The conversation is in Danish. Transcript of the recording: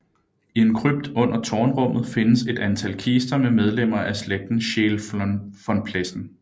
I en krypt under tårnrummet findes et antal kister med medlemmer af slægten Scheel von Plessen